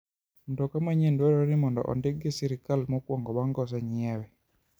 Mtoka manyien dwarore ni mondo ondiki gi sirkal mokwongo bang' kosenyiewe.